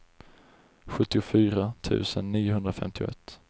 sjuttiofyra tusen niohundrafemtioett